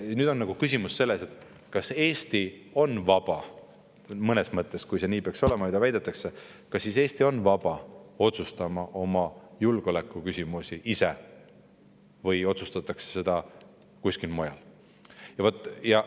Ja nüüd on küsimus selles, kas Eesti on siis vaba – mõnes mõttes, kui see nii peaks olema, nagu väidetakse – otsustama oma julgeoleku küsimusi ise või otsustatakse neid kuskil mujal.